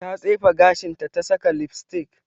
Ta tsefe gashinta ta saka lipstick.